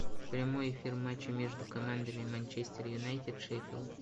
прямой эфир матча между командами манчестер юнайтед шеффилд